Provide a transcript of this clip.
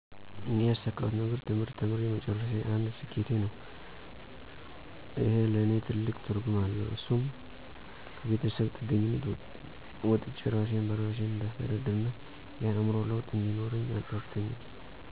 እኔ ያሳካሁት ነገር ትምህርት ተምሬ መጨረሴ አንድ ስኬቴ ነው። እሄ ለኔ ትልቅ ትርጉም አለው እሱም ከቤተሰብ ጥገኝነት ወጥቸ እራሴን በራሴ እንዳስተዳድርና የአዕምሮ ለውጥ እንዲኖረኝ ረድቶኛል።